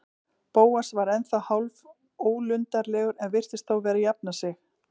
Bóas var ennþá hálfólundarlegur en virtist þó vera að jafna sig.